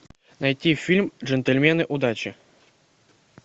найти фильм джентльмены удачи